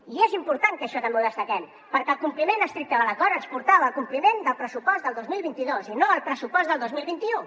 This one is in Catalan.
i és important que això també ho destaquem perquè el compliment estricte de l’acord ens portava al compliment del pressupost del dos mil vint dos i no al pressupost del dos mil vint u